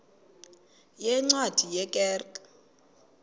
yeencwadi ye kerk